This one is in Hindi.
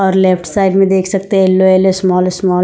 और लेफ्ट साइड में देख सकते हैं येलो येलो स्मॉल स्मॉल --